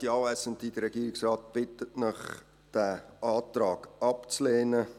Der Regierungsrat bittet Sie, diesen Antrag abzulehnen.